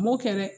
N m'o kɛ dɛ